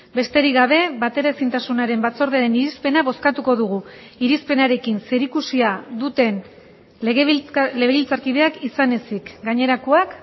besterik gabe bateraezintasunaren batzordearen irizpena bozkatuko dugu irizpenarekin zerikusia duten legebiltzarkideak izan ezik gainerakoak